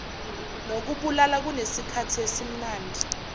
nokubulala kunesikhathi esimnandi